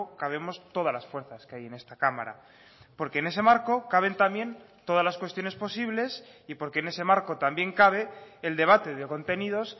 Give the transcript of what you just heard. cabemos todas las fuerzas que hay en esta cámara porque en ese marco caben también todas las cuestiones posibles y porque en ese marco también cabe el debate de contenidos